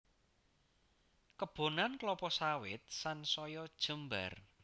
Kebonan klapa sawit sansaya jembar